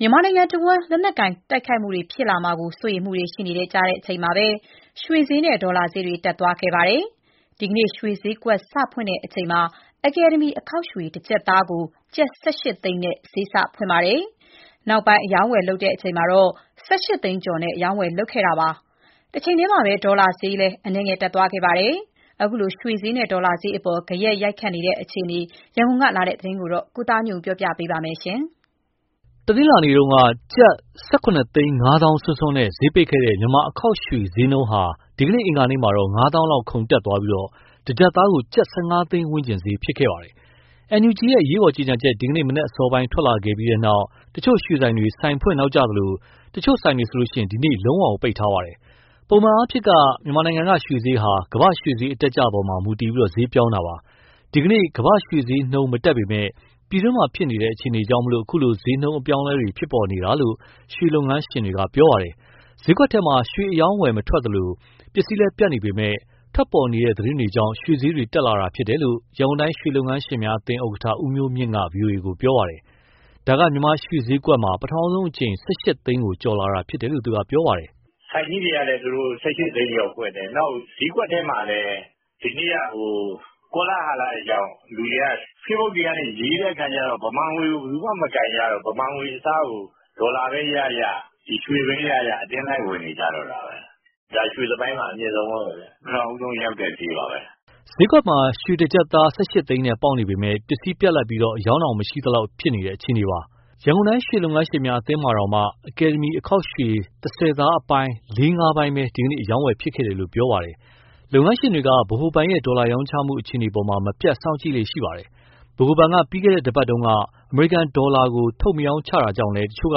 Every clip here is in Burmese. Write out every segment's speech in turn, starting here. မြန်မာနိုင်ငံတဝန်း လက်နက်ကိုင်တိုက်ခိုက်မှုတွေ ဖြစ်လာမှာ စိုးရိမ်မှုတွေရှိနေကြချိန်မှာပဲ ရွှေဈေးနဲ့ ဒေါ်လာဈေးတွေ တက်သွားခဲ့ပါတယ်။ ရွှေဈေးကွက် စဖွင့်ချိန်မှာ အကယ်ဒမီအခေါက်ရွှေ တကျပ်သားကို ကျပ် ၁၈ သိန်းနဲ့ ဈေးကို စဖွင့်ပါတယ်။ နောက်ပိုင်းအရောင်းအဝယ်လုပ်ချိန်မှာ ၁၈ သိန်းကျော်နဲ့ အရောင်းအဝယ်လုပ်ခဲ့ကြပါတယ်။ ဒေါ်လာဈေးကလည်း အနည်းငယ်တက်ခဲ့ပါတယ်။ ခုလို ရွှေဈေးနဲ့ ဒေါ်လာဈေးအပေါ် ဂယက်ရိုက်ခတ်နေတဲ့ အခြေအနေ ရန်ကုန်ကလာတဲ့သတင် ကိုသားညွန့်ဦးပြောပြပါမယ်။ တနင်္လာနေ့က ကျပ် ၁,၇၅၀,၀၀၀ စွန်းစွန်းနဲ့ ဈေးပိတ်ခဲ့တဲ့ မြန်မာ့အခေါက်ရွှေ ဈေးနှုန်းဟာ ဒီနေ့အင်္ဂါနေ့မှာတော့ ၅၀၀၀၀ လောက်ခုန်တက်သွားပြီး တကျပ်သားကို ကျပ် ၁၈ သိန်းဝန်းကျင်ဈေးဖြစ်ခဲ့ပါတယ်။ NUG ရဲ့ အရေးပေါ်ကြေညာချက် ဒီနေ့မနက်အစောပိုင်းမှာ ထွက်လာခဲ့ပြီးနောက် တချို့ရွှေဆိုင်တွေ ဆိုင်ဖွင့်နောက်ကျသလို တချို့ ဆိုင်တွေဆို ဒီနေ့ လုံးဝပိတ်ထားပါတယ်။ ပုံမှန်အားဖြင့် မြန်မာနိုင်ငံက ရွှေဈေးဟာ ကမာ့္ဘရွှေဈေးအတက်အကျပေါ်မှာ မူတည်ဈေးပြောင်းတာပါ။ ဒီနေ့မှာ ကမ္ဘာ့ရွှေဈေးနှုန်း မတက်ပေမဲ့ ပြည်တွင်းမှာဖြစ်နေတဲ့ အခြေအနေကြောင့် အခုလို ဈေးနှုန်းအပြောင်းအလဲတွေ ဖြစ်ပေါ်နေတာလို့ ရွှေလုပ်ငန်းရှင်တွေက ပြောပါတယ်။ ဈေးကွက်ထဲမှာ ရွှေအရောင်းမထွက်သလို၊ ပစ္စည်းလည်းပြတ်နေပေမဲ့ ထွက်ပေါ်နေတဲ့ သတင်းတွေကြောင်း ရွှေဈေးတွေ တက်လာတာလို့ ရန်ကုန်တိုင်းရွှေလုပ်ငန်းရှင်များအသင်း ဥက္ကဋ္ဌ ဦးမျိုးမြင့်က ဗွီအိုအေကို ပြောပါတယ်။ ဒါကမြန်မာ့ရွှေဈေးကွက်မှာ ပထမဦးဆုံးအကြိမ် ၁၈ သိန်းကို ကျော်လာတာလို့ သူကပြောတာပါ။ “ကျနော်တို့ အသင်းက မဖွင့်ခင်မှာ ဟိုဘက်ဆိုင်ကြီးတွေက ၁၈ သိန်းကျော်ဖွင့်တယ်၊ နောက် ဈေးကွက်ထဲမှာလည်း ဒီနေ့ကဟို ကောလာဟလတွေကြောင့် လူတွေက facebook တွေကနေ ရေးတဲ့အခါကျတော့ ဗမာငွေကို ဘယ်သူမှ မကိုင်ကြတော့ဘူး၊ ဗမာငွေအစားကို ဒေါ်လာပဲရရ၊ ရွှေပဲရရ အတင်းလိုက်ဝယ် နေကြတော့တာပဲ။ ဒါရွှေသမိုင်းမှာ အမြင့်ဆုံးပဲပေါ့ဗျာ ပထမဦးဆုံးရောက်တဲ့ ဈေးပါပဲ။” ဈေးကွက်မှာ ရွှေတကျပ်သား ၁၈ သိန်းနဲ့ပေါက်နေပေမဲ့ ပစ္စည်းပြတ်လပ်ပြီး အရောင်းတော့ မရှိသလောက် အခြေအနေပါ။ ရန်ကုန်တိုင်း ရွှေလုပ်ငန်းရှင်များ အသင်းမှာတောင် အကယ်ဒမီ အခေါက်ရွှေ ၁၀ သားအပိုင်း လေးငါးပိုင်းပဲ ဒီကနေ့ အရောင်းအဝယ်ဖြစ်ခဲ့တယ်လို့ပြောပါတယ်။ လုပ်ငန်းရှင်တွေက ဗဟိုဘဏ်ရဲ့ ဒေါ်လာရောင်းချမှု အခြေအနေအပေါ် မပြတ်စောင့်ကြည့်လေ့ရှိပါတယ်။ ဗဟိုဘဏ်က ပြီးခဲ့တဲ့ တပတ်က အမေရိကန်ဒေါ်လာကို ထုတ်မရောင်းချတာ ကြောင့်လည်း တချို့က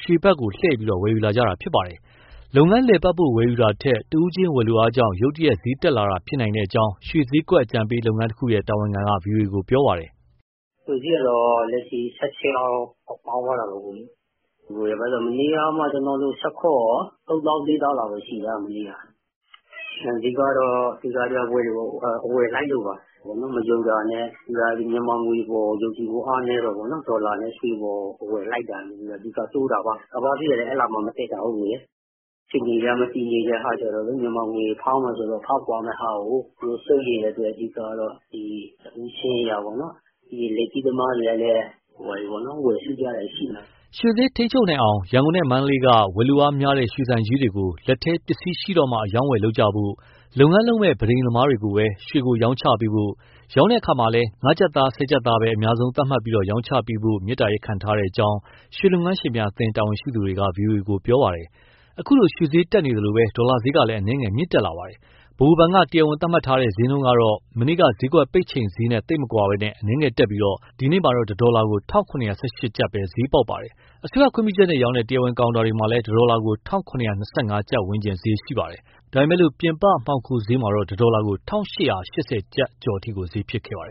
ရွှေဝယ်လှည့်ပြီး ဝယ်ယူလာတာပါ။ လုပ်ငန်းလည်ပတ်ဖို့ ဝယ်ယူကြတာထက် တဦးချင်းဝယ်လိုအားကြောင့် ရုတ်တရက် ဈေးတက်လာဖြစ်နိုင်ကြောင်း ရွှေဈေးကွက်အကြံပေး လုပ်ငန်းတခုရဲ့ တာဝန်ခံက ဗွီအိုအေကို ပြောပါတယ်။ “ရွှေဈေးကတော့ လက်ရှိ ၁၈ လောက် ပေါက်သွားတာပေါ့၊ မနေ့ကမှ ကျနော်ဆို ၁၇၊ ၃ သောင်း၊ ၄ သောင်းလောက်ပဲရှိတာ။ အဓိကတော့ အဝယ်လိုက်လို့ပါ။ မယုံတာနဲ့၊ မြန်မာငွေအပေါ် ယုံကြည်မှု အားနည်းတာပေါ့နော် ဒေါ်လာနဲ့ရွှေအပေါ် အဝယ်လိုက်တာကနေ အဓိကတိုးတာပါ။ ကမ္ဘာ့ ဈေးကလည်း အဲလောက်မှ မတက်တာကိုး။ အခြေအနေက မတည်ငြိမ်တဲ့အခါကျတော့လေ မြန်မာငွေဖောင်းမယ်ဆိုတော့ ဖောင်းပွမယ့်ဟာကို သူတို့စိုးရိမ်တဲ့အတွက် အဓိကတော့ တဦးချင်းအရပေါ့နော်။ လက်ကြီးသမားတွေကလည်း ဝယ်စုကြတာရှိတယ်။” ရွှေဈေးထိန်းချုပ်နိုင်အောင် ရန်ကုန်နဲ့ မန္တလေးက ဝယ်လိုအားများတဲ့ ရွှေဆိုင်ကြီးတွေကို လက်ထဲပစ္စည်းရှိမှ လုပ်ကြဖို့၊ လုပ်ငန်းလုပ်မယ့် ပန်းထိမ်သမားတွေကိုပဲ ရွှေကိုရောင်းချပေးဖို့၊ ရောင်းချတဲ့အခါမှာလည်း ၅ ကျပ်သား၊ ၁၀ သားပဲ အများဆုံးသတ်မှတ်ပြီး ရောင်းချပေးဖို့ မေတ္တာရပ်ခံထားကြောင်း ရွှေလုပ်ငန်းရှင်များအသင်း တာဝန်ရှိသူတွေက ဗွီအိုအေကို ပြောပါတယ်။ ခုလိုရွှေဈေးတက်နေသလို ဒေါ်လာဈေးလည်း အနည်းငယ်မြင့်တက်ခဲ့ပါတယ်။ ဗဟိုဘဏ်က တရားဝင်သတ်မှတ်ထားတဲ့ ဈေးနှုန်းကတော့ မနေ့က ဈေးကွက်ပိတ်ချိန်ဈေးနဲ့ သိပ်မကွာဘဲ အနည်းငယ်တက်ပြီး ဒီနေ့ တဒေါ်လာကို ၁၇၁၈ ကျပ်ပဲဈေးပေါက်ပါတယ်။ အစိုးရခွင့်ပြုချက်နဲ့ရောင်းတဲ့ တရားဝင် ကောင်တာတွေမှာလည်း ၁ ဒေါ်လာကို ၁၇၂၅ ကျပ်ဝန်းကျင်ဈေးရှိပါတယ်။ ဒါပေမဲ့ ပြင်ပမှောင်ခိုဈေးမှာတော့ ၁ ဒေါ်လာကို ၁၈၈၀ ကျပ်ကျော်အထိ ဈေးဖြစ်ခဲ့ပါတယ်